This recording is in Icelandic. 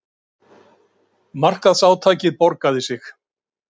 Markaðsátakið borgaði sig